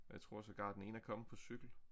Jeg tror sågar den ene er kommet på cykel